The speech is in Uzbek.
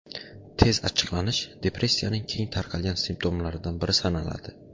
Tez achchiqlanish depressiyaning keng tarqalgan simptomlaridan biri sanaladi.